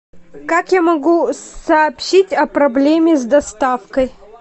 как я могу сообщить о проблеме с доставкой